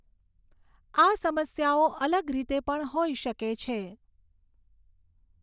આ સમસ્યાઓ અલગ રીતે પણ હોઈ શકે છે.